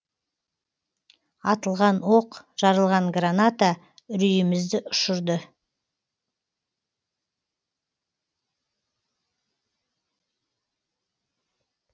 атылған оқ жарылған граната үрейімізді ұшырды